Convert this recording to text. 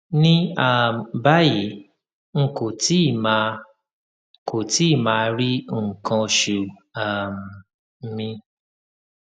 ní um báyìí n kò tíì máa kò tíì máa rí nǹkan oṣù um mi